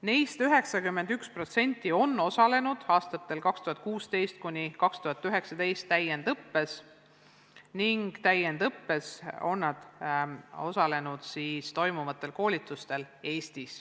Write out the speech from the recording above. Neist 91% on osalenud aastatel 2016–2019 täiendusõppes, Eestis toimuvatel koolitustel.